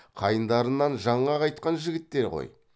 қайындарынан жаңа қайтқан жігіттер ғой